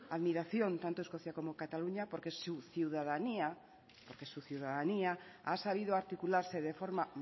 admiración tanto escocia como cataluña porque su ciudadanía ha sabido articularse de forma